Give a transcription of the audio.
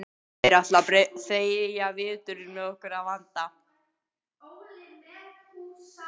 Þeir ætla að þreyja veturinn með okkur að vanda.